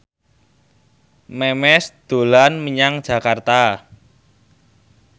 Memes dolan menyang Jakarta